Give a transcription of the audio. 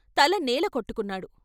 తల నేల కొట్టుకున్నాడు.